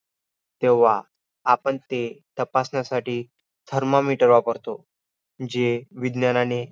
रीत्याम रीत्यम शरीराला शनशक्तीलागच्च तिथे प्रत्येक क्षनाला शरीर घटक असल्याने आयुष्य कमी होत असते म्हणुन आयुष्याला नित्यम् आसा शब्द आहे.